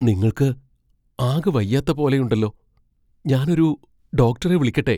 നിങ്ങൾക്ക് ആകെ വയ്യാത്ത പോലെയുണ്ടല്ലോ. ഞാൻ ഒരു ഡോക്ടറെ വിളിക്കട്ടെ?